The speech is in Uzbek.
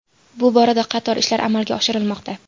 Bu borada qator ishlar amalga oshirilmoqda.